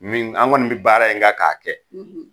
Ni an kɔni be baara in kan k'a kɛ.